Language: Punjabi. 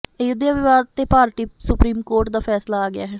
ਅਯੁੱਧਿਆ ਵਿਵਾਦ ਤੇ ਭਾਰਤੀ ਸੁਪਰੀਮ ਕੋਰਟ ਦਾ ਫੈਸਲਾ ਆ ਗਿਆ ਹੈ